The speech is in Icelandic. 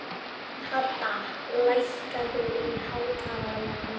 Hadda, lækkaðu í hátalaranum.